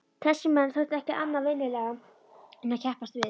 Þessir menn þekktu ekki annað vinnulag en að keppast við.